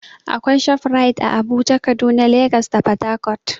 Akwai ShopRite ã Abuja, Kaduna, Legas da port Harcourt.